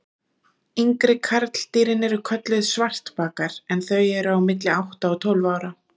Yngri karldýrin eru kölluð svartbakar en þau eru á milli átta og tólf ára.